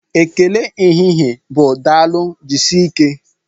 Ekele ehihie bụ Daalụ, jisike